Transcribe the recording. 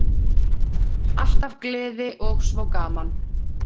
Alltaf gleði og svo gaman.